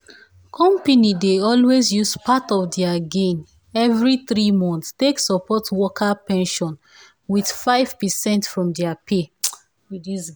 company dey always use part of their gain every three months take support worker pension with five percent from their pay